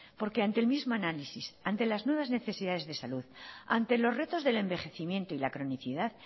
porque ante el mismo análisis ante las nuevas necesidades de salud ante los retos del envejecimiento y la cronicidad